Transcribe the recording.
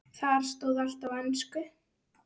Þar stóð allt á ensku.